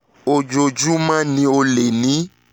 ojoojúmọ́ ni o lè ni